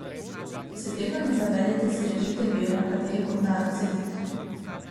Če se tega ne zavedate, si režete vejo, na kateri kot narod sedite.